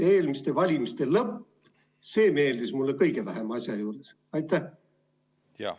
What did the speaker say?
Eelmiste valimiste lõpp meeldis mulle kogu selle asja juures kõige vähem.